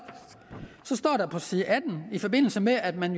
står der på side atten i forbindelse med at man